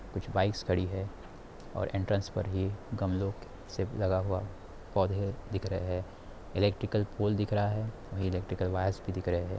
कुछ बाइक्स खड़ी है और एंट्रेंस पर ही गमलो क से लगा हुआ है पौधे दिख रहे हैं इलेक्ट्रिकल पॉल दिख रहा है वही इलेक्ट्रिकल वायर्स भी दिख रहे हैं।